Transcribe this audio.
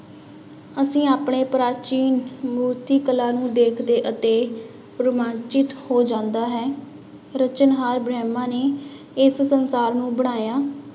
ਅਸੀਂ ਆਪਣੇ ਪ੍ਰਾਚੀਨ ਮੂਰਤੀ ਕਲਾ ਨੂੰ ਦੇਖਦੇ ਅਤੇ ਰੁਮਾਂਚਿਤ ਹੋ ਜਾਂਦਾ ਹੈ, ਰਚਨਹਾਰ ਬ੍ਰਹਮਾ ਨੇ ਇਸ ਸੰਸਾਰ ਨੂੰ ਬਣਾਇਆ।